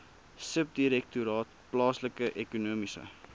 subdirektoraat plaaslike ekonomiese